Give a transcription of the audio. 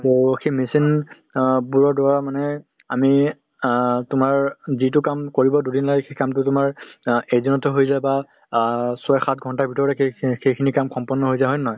টো সেই machine অ বোৰৰ দ্বাৰা মানে আমি অ তোমাৰ যিটো কাম কৰিব দুদিন লাগে সেই কামটো কৰিব তোমাৰ অ এদিনতে হৈ যায় বা অ ছয় সাত ঘণ্টাৰ ভিতৰতে সেই সেইখিনি কাম সম্পন্ন হৈ যায় হয় নে নহয়।